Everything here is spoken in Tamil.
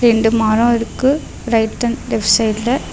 ரெண்டு மரோ இருக்கு ரைட் அண்ட் லெஃப்ட் சைடுல .